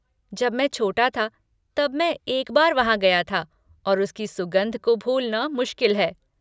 जब मैं छोटा था तब मैं एक बार वहाँ गया था और उसकी सुगंध को भूलना मुश्किल है।